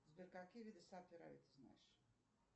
сбер какие виды саперави ты знаешь